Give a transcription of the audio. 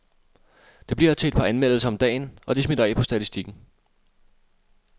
Det bliver til et par anmeldelser om dagen, og det smitter af på statistikken.